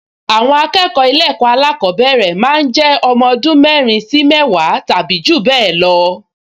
Àwọn akẹ́kọ̀ọ ilé ẹ̀kọ́ alákọ̀ọ́bẹ̀rẹ̀ máa ń jẹ́ ọmọ ọdún mẹ́rin sí mẹ́wàá tàbí jù bẹ́ẹ̀ lọ